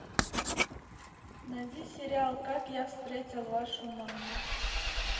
найди сериал как я встретил вашу маму